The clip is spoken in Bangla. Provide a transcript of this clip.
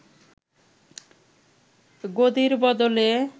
গদির বদলে